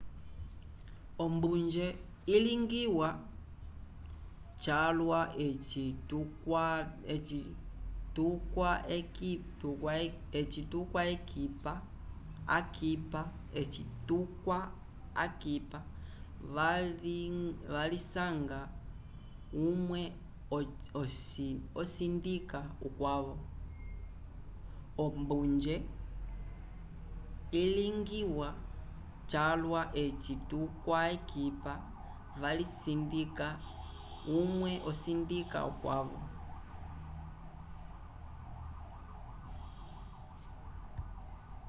ombunje ilingiwa calwa eci tukwa akipa avali vilisanga umwe osindika ukwavo